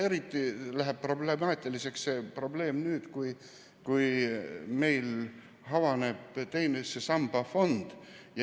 Eriti problemaatiliseks läheb see olukord nüüd, kui meil avaneb teise samba fond.